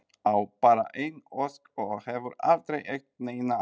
Á bara eina ósk og hefur aldrei átt neina aðra.